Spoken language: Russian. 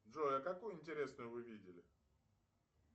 джой а какую интересную вы видели